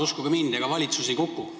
Uskuge mind, ega valitsus ei kuku.